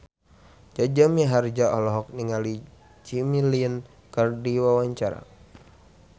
Jaja Mihardja olohok ningali Jimmy Lin keur diwawancara